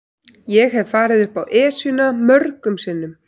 Ég hef farið upp Esjuna mörgum sinnum.